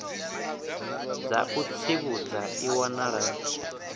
dza u tsivhudza i wanala